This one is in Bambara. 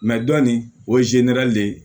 dɔn nin o le